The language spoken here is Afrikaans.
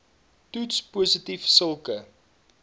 toets positief sulke